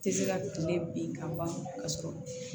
Tɛ se ka tile bin ka ban k'a sɔrɔ